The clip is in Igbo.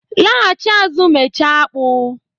laghachi azụ mechaa apku